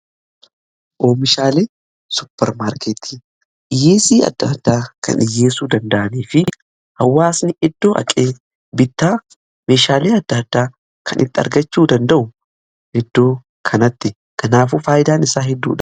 Oomishaalee suppermaarkeetii dhiyeessii adda addaa kan dhiyeesssuu danda'anii fi hawwaasni iddoo dhaqee, bittaa meeshaalee adda addaa kan itti argachuu danda'u, iddoo kanatti. Kanaafuu faayidaan isaa hedduudha.